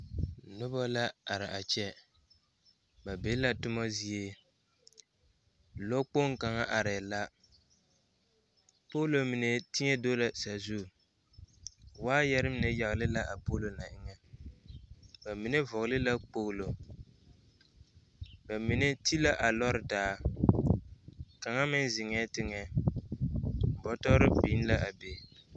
Noba la are a kyɛ ba be la toma zie lɔɔkpoŋ kaŋa arɛɛ la poolo mine teɛ do la sazu waayɛre mine yagle la a poolo na eŋɛ ba mine vɔgle la kpoglo ba mine ti la a lɔɔre taa kaŋa meŋ zeŋɛɛ teŋɛ bɔtɔre biŋ la a be.